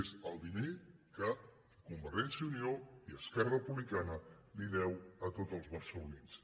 és el diner que convergència i unió i esquerra republicana els de·uen a tots els barcelonins